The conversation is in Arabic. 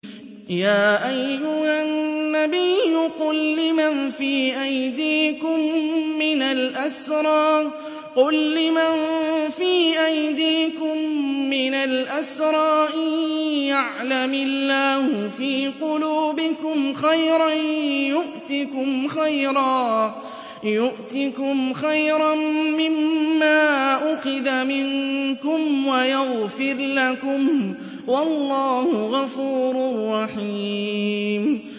يَا أَيُّهَا النَّبِيُّ قُل لِّمَن فِي أَيْدِيكُم مِّنَ الْأَسْرَىٰ إِن يَعْلَمِ اللَّهُ فِي قُلُوبِكُمْ خَيْرًا يُؤْتِكُمْ خَيْرًا مِّمَّا أُخِذَ مِنكُمْ وَيَغْفِرْ لَكُمْ ۗ وَاللَّهُ غَفُورٌ رَّحِيمٌ